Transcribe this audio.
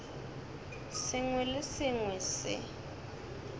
sengwe le se sengwe se